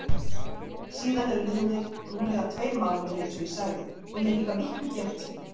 Síðan eru liðnir rúmlega tveir mánuðir einsog ég sagði og ég er líka miklu bjartsýnni.